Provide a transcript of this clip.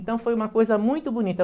Então foi uma coisa muito bonita.